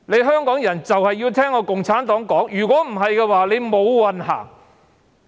香港人必須聽從共產黨，否則將"無運行"。